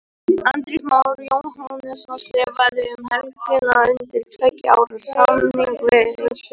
Andrés Már Jóhannesson skrifaði um helgina undir tveggja ára samning við Fylki.